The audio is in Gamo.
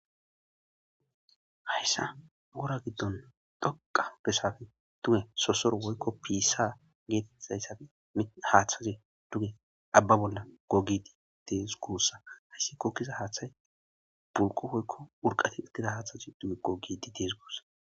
Hassan wora giddon dhoqqa besan duwe sosoro woykko piissa geetettiza haathazi duge abba bolla goggidi de7ees guussako hayssi goggiza haathay turqo woykko urqqa goggishe de7eesko.